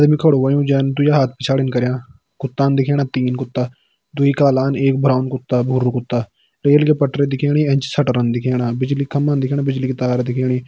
खड़ु होयुं जैन दुई हाथ पिछाड़ीन करयां कुत्तान दिखेणा तीन कुत्ता दुई कालान एक ब्राउन कुत्ता भुरू कुत्ता रेल की पटरी दिखेणी एंच शटरन दिखेणा बिजली का खम्बा दिखेणा बिजली की तार दिखेणी।